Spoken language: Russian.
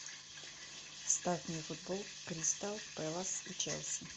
ставь мне футбол кристал пэлас и челси